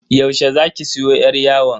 Yaushe zaki siyo yar yawon?